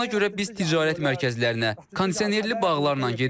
Buna görə biz ticarət mərkəzlərinə, kondisionerli bağlı yerlərə gedirik.